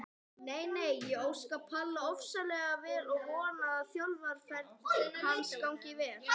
Nei nei, ég óska Palla ofsalega vel og vona að þjálfaraferill hans gangi vel.